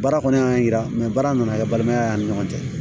Baara kɔni y'an yira baara nana kɛ balimaya y'an ni ɲɔgɔn cɛ